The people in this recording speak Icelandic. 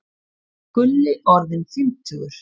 Gulli orðinn fimmtugur.